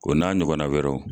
O n'a ɲɔgɔnna wɛrɛw